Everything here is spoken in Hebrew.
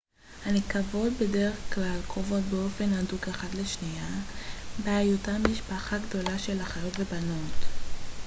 הנקבות בדרך כלל קרובות באופן הדוק אחת לשנייה בהיותן משפחה גדולה של אחיות ובנות